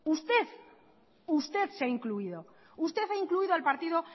usted usted se ha incluido usted ha incluido al partido